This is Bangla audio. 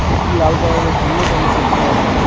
একটি লাল কালার -এর হেলমেট আমরা দেখতে পাচ্ছি।